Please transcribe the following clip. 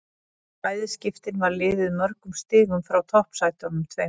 Í bæði skiptin var liðið mörgum stigum frá toppsætunum tveimur.